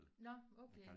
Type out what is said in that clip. Nåh okay